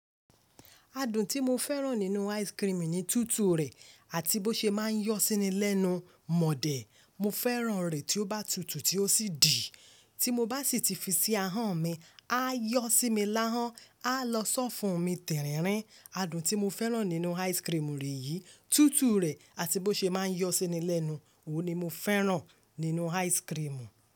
Adùn tí mo fẹ́ràn nínú ice cream ni tútù rẹ̀ àti bó ṣe máa ń yọ síni lẹ́nu. Mọ̀dẹ́, mo fẹ́ràn rẹ̀ tí ó bá tutù tí ó sì dì. Tí mo bá sì ti fi sí ahọ́n mi, á yọ sí mi lahọ̀n, á lọ sọ́fun mi tẹ̀ríńrín. Adùn tí mo fẹ́ràn nínú ice cream rẹ̀ yìí, tútù rẹ̀ àti bó ṣe máa ń yọ síni lẹ́nu. Ó ni mo fẹ́ràn nínú ice cream.